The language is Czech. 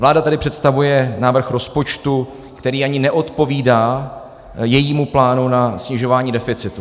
Vláda tady představuje návrh rozpočtu, který ani neodpovídá jejímu plánu na snižování deficitu.